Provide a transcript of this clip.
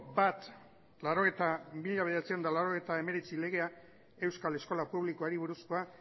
mila bederatziehun eta laurogeita hemeretzi legea euskal eskola publikoari buruzkoa